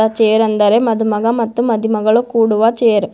ಆ ಚೇರ್ ಎಂದರೆ ಮದುಮಗ ಮತ್ತು ಮದುಮಗಳು ಕೂಡುವ ಚೇರ್ .